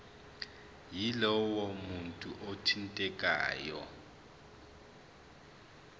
yalowo muntu othintekayo